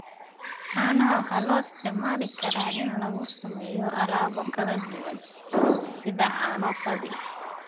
Caanaha waxaa loo isticmaali karaa in lagu sameeyo alaabo kala duwan, sida caano fadhi.